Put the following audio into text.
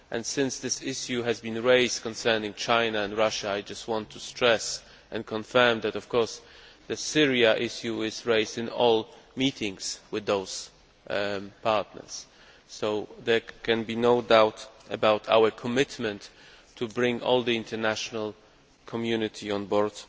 Since this issue has been raised concerning China and Russia, I just want to stress and confirm that, of course, the Syrian issue is raised in all meetings with those partners, so there can be no doubt about our commitment to bringing all the international community on board